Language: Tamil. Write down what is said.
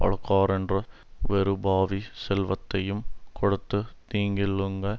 அழுக்காறென்ற வெருபாவி செல்வத்தையுங் கெடுத்துத் தீங்கிள்ளுங்க